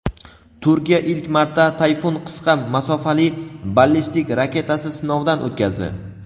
Turkiya ilk marta "Tayfun" qisqa masofali ballistik raketasi sinovdan o‘tkazdi.